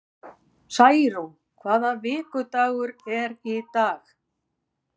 Særún, hvaða vikudagur er í dag?